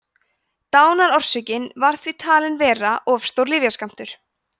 dánarorsök var því talin vera of stór lyfjaskammtur